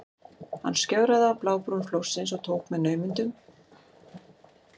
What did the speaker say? Hann skjögraði á blábrún flórsins og tókst með naumindum að verjast falli.